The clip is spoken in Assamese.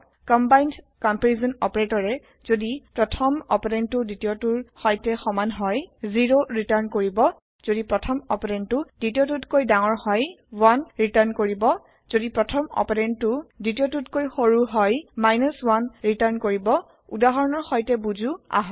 কমবাইন্দ কম্পেৰিচন অপাৰেটৰে যদি প্ৰথম অপাৰেন্দটো দ্বিতীয়টোৰ সৈতে সমান হয় 0 ৰিটাৰ্ণ কৰিব যদি প্ৰথম অপাৰেন্দটো দ্বিতীয়টোতকৈ ডাঙৰ হয় 1 ৰিটাৰ্ণ কৰিব যদি প্ৰথম অপাৰেন্দটো দ্বিতীয়টোতকৈ সৰু হয় 1 ৰিটাৰ্ণ কৰিব উদাহৰণৰ সৈতে বুজো আহক